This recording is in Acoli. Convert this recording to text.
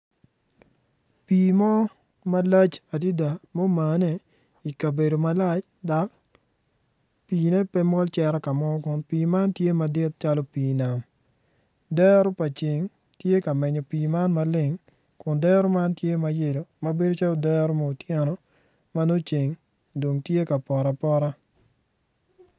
Pii mo malac adida mumane i kabedo malac dok pii-ne pe mol cito ka mo kun pii man tye madit calo pii nam dero pa ceng tye menyo pii man maleng kun dero man tye ma yelo ma bedo calo mu oteno ma nongo ceng dong tye ka poto apota.